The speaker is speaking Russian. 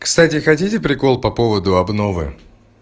кстати хотите прикол по поводу обновы